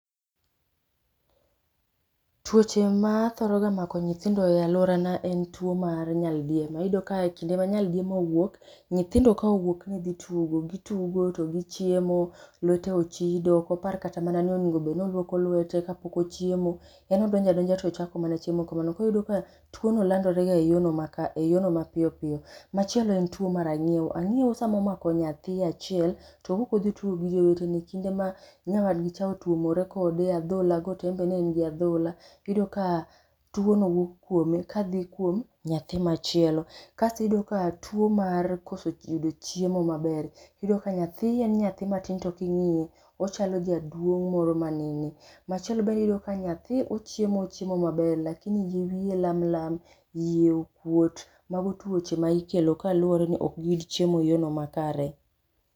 Tuoche ma thoroga mako nyithindo e aluorana en tuo mar nyaldiema, iyudo ka kinde ma nyaldiema owuok nyithindo ka owuok ni dhi tugo, gitugo to gichiemo lwete ochido okopar kata mana ni onego obed ni oluoko lwete kapok ochiemo yani odonjadonja tochako mana chiemo kamano, koro yudo ka tuono landorega e yoono mapiyopiyo. Machielo en tuo mar ang'iew ,ang'iew samomako nyathii achiel to owuok odhii tugo gi jowetene, kinde ma nyawadgicha otuomore kode e adholago to enbe ne en gi adhola iyudo ka tuono wuok kuome ka dhii ka nyathi machielo. Kasto iyudo ka tuo mar koso yudo chiemo maber, iyudo ka nyathien nyathi matin to king'iye ochalo jaduong' moro manene. Macheilo iyudo ka nyathi ochiemo ochiemo maber lakini yier wiye lamlam, iye okuot mago tuoche ma ikelo kaluore ni okgiyud chiemo makare.